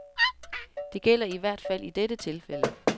Det gælder i hvert fald i dette tilfælde.